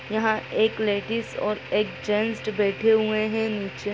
यहाँ एक लेडिज और एक जेन्ट्स बैठे हुए हैं नीचे --